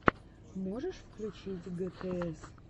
можешь включить гтс